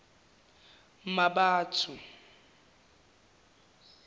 mmabatho